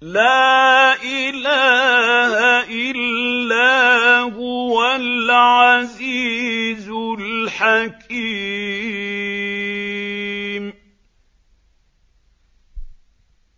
لَا إِلَٰهَ إِلَّا هُوَ الْعَزِيزُ الْحَكِيمُ